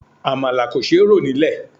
Àmàlà kò ṣe rò nílè.